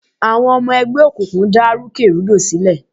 Àwọn ọmọ ẹgbẹ́ òkùnkùn dá rúkè rúdò sílẹ̀.